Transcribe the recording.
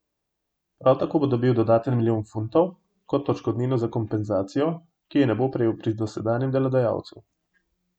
Prav tako bo dobil dodaten milijon funtov kot odškodnino za kompenzacijo, ki je ne bo prejel pri dosedanjem delodajalcu.